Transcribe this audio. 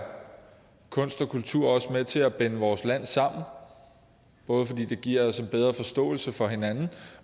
kunst og kultur med til at binde vores land sammen både fordi det giver os en bedre forståelse for hinanden